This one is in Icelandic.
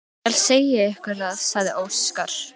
Ég skal segja ykkur það, sagði Óskar.